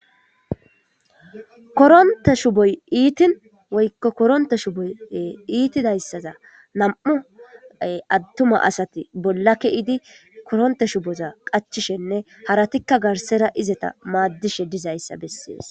koronitte shupoyi ittin woyikko koronitta shupoyi ittidayissada nam'u attuma assati bolla keyiddi qachishene haratikka qassekka garissara izata maddishe dizayisa bessesi.